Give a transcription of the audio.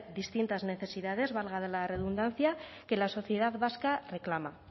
distintas necesidades valga la redundancia que la sociedad vasca reclama